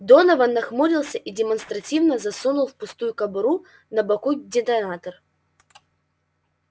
донован нахмурился и демонстративно засунул в пустую кобуру на боку детонатор